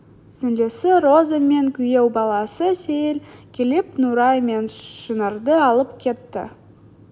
сіңілісі роза мен күйеу баласы сейіл келіп нұрай мен шынарды алып кетті